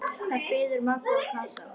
Þar biðu Magga og Kata.